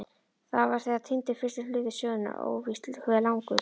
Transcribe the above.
Þá var þegar týndur fyrsti hluti sögunnar, óvíst hve langur.